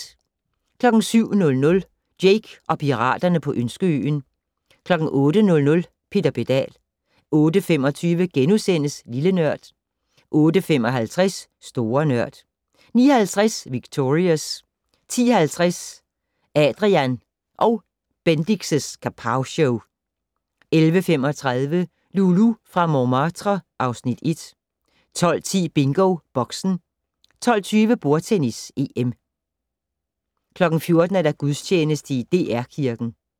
07:00: Jake og piraterne på Ønskeøen 08:00: Peter Pedal 08:25: Lille Nørd * 08:55: Store Nørd 09:50: Victorious 10:50: Adrian & Bendix' Kapowshow 11:35: Loulou fra Montmartre (Afs. 1) 12:10: BingoBoxen 12:20: Bordtennis: EM 14:00: Gudstjeneste i DR Kirken